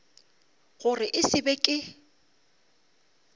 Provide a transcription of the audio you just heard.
gore e se be ke